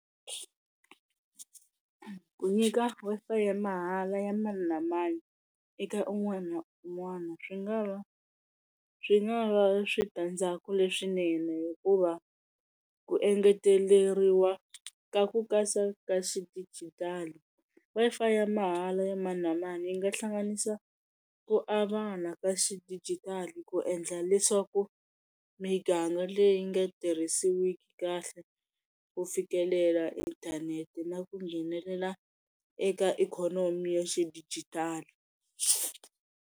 Ku nyika Wi-Fi ya mahala ya mani na mani, eka un'wana na un'wana swi nga va swi nga va switandzhaku leswinene hikuva ku engeteleriwa ka ku kasa ka xidijitali, Wi-Fi ya mahala ya mani na mani yi nga hlanganisa ku avana ka xidijitali ku endla leswaku miganga leyi nga tirhisiwiki kahle ku fikelela inthanete na ku nghenelela eka ikhonomi ya xidijitali.